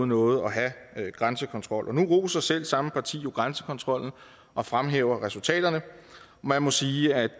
noget at have grænsekontrol og nu roser selv samme parti jo grænsekontrollen og fremhæver resultaterne man må sige at